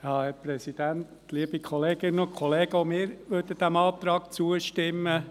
Auch wir möchten diesem Antrag zustimmen.